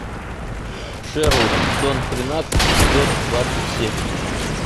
шерлок сезон тринадцать эпизод двадцать семь